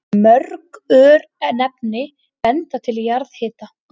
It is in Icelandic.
Mörg örnefni benda til jarðhita.